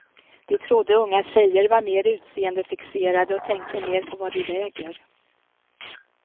De trodde unga tjejer var mer utseendefixerade och tänkte mer på vad de väger.